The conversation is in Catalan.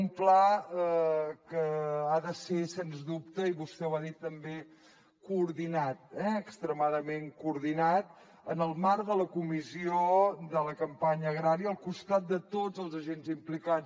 un pla que ha de ser sens dubte i vostè ho ha dit també coordinat eh extremadament coordinat en el marc de la comissió de la campanya agrària al costat de tots els agents implicats